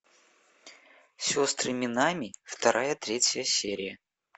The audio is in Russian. сестры минами вторая третья серия